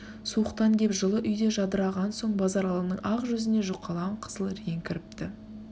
суықтан кеп жылы үйде жадыраған соң базаралының ақ жүзіне жүқалаң қызыл рең кіріпті